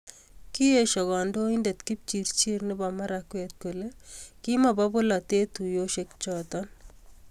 Kieshio kandoindet Kipchirchir nebo Marakwet kole kimobo polatet tuyoshek choto